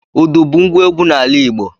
Udu bu ngwa egwu n'ala Igbo